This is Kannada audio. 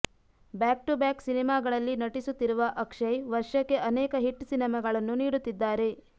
ಬ್ಯಾಕ್ ಟು ಬ್ಯಾಕ್ ಸಿನಿಮಾಗಳಲ್ಲಿ ನಟಿಸುತ್ತಿರುವ ಅಕ್ಷಯ್ ವರ್ಷಕ್ಕೆ ಅನೇಕ ಹಿಟ್ ಸಿನಿಮಾಗಳನ್ನು ನೀಡುತ್ತಿದ್ದಾರೆ